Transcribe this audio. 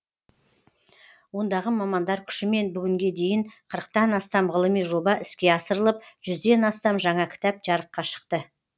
ондағы мамандар күшімен бүгінге дейін қырықтан астам ғылыми жоба іске асырылып жүзден астам жаңа кітап жарыққа шықты